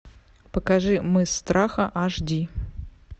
покажи мыс страха аш ди